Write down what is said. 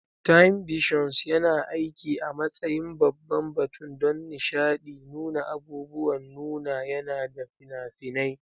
Timevissions yana aiki a matsayin babban batun don nishaɗi, nuna abubuwan nuna yana da fina-finai.